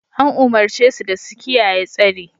An umurce su da su kiyaye tsari!